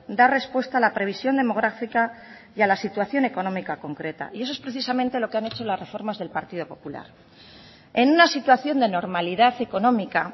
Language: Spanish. dar respuesta a la previsión demográfica y a la situación económica concreta y eso es precisamente lo que han hecho las reformas del partido popular en una situación de normalidad económica